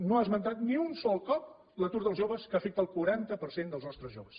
no ha esmentat ni un sol cop l’atur dels joves que afecta el quaranta per cent dels nostres joves